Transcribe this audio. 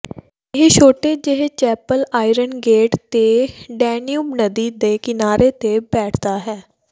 ਇਹ ਛੋਟੇ ਜਿਹੇ ਚੈਪਲ ਆਇਰਨ ਗੇਟ ਤੇ ਡੈਨਿਊਬ ਨਦੀ ਦੇ ਕਿਨਾਰੇ ਤੇ ਬੈਠਦਾ ਹੈ